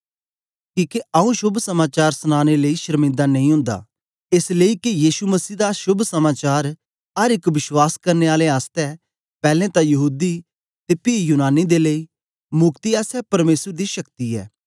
किके आंऊँ शोभ समाचार सनानें लेई शरमिन्दा नेई ओंदा एस लेई के यीशु मसीह दा शोभ समाचार अर एक विश्वास करने आलें आसतै पैलैं तां यहूदी ते पी यूनानी दे लेई मुक्ति आसतै परमेसर दी शक्ति ऐ